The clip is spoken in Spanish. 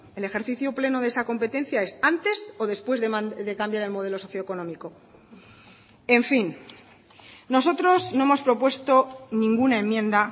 el ejercicio pleno de esa competencia es antes o después de cambiar el modelo socio económico en fin nosotros no hemos propuesto ninguna enmienda